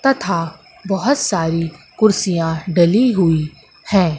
तथा बहोत सारी कुर्सियाँ डली हुई हैं।